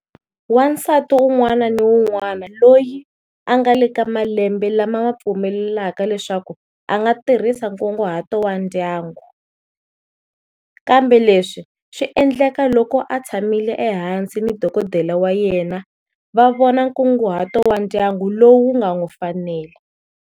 Wansati un'wana ni un'wana loyi a nga le ka malembe lama ma pfumelelaka leswaku a nga tirhisa nkunguhato wa ndyangu, kambe leswi swi endleka loko a tshamile ehansi ni dokodela wa yena va vona nkunguhato wa ndyangu lowu u nga n'wi fanela.